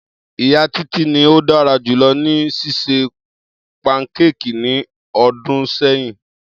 Iya Titi ni o dara julọ ni ṣiṣe pankéèkì ni ọdun sẹyin.